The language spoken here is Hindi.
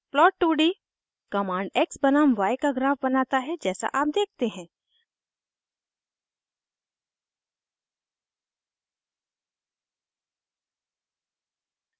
प्लॉट2d कमांड x बनाम y का ग्राफ बनाता है जैसा आप देखते हैं